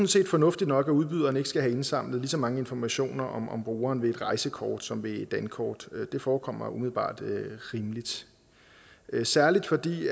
set fornuftigt nok at udbyderen ikke skal have indsamlet lige så mange informationer om brugeren ved et rejsekort som ved et dankort det forekommer umiddelbart rimeligt særlig fordi